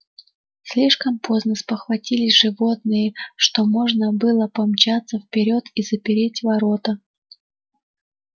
слишком поздно спохватились животные что можно было помчаться вперёд и запереть ворота